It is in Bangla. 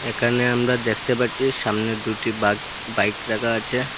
এখানে আমরা দেখতে পাচ্ছি সামনে দুটি বাক-বাইক রাখা আছে।